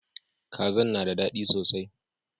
Kazan na da dadi sosai.